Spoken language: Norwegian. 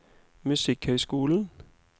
musikkhøyskolen